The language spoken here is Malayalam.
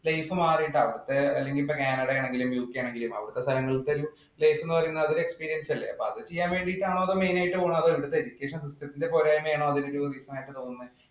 life മാറിയിട്ടുണ്ട്. അല്ലെങ്കില്‍ ഇപ്പൊ കാനഡ ആണെങ്കിലും, യുകെ ആണെങ്കിലും അവിടത്തെ സ്ഥലങ്ങള്‍ക്ക് ഒരു life എന്ന് പറയുന്നത് അത് ഒരു experience അല്ലേ. അപ്പൊ അത് ചെയ്യാൻ വേണ്ടിയിട്ടാണോ main ആയിട്ട് പോകുന്നത് അതോ ഇവിടത്തെ education system ത്തിന്‍റെ പോരായ്മയാണോ അതില് തോന്നുന്നത്.